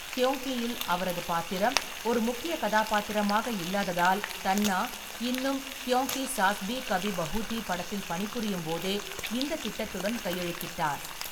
க்கியோங்கியில் அவரது பாத்திரம் ஒரு முக்கிய கதாபாத்திரமாக இல்லாததால், தன்னா இன்னும் க்கியோங்கி சாஸ் பி கபி பஹு தி படத்தில் பணிபுரியும்போதே இந்த திட்டத்துடன் கையெழுத்திட்டார்.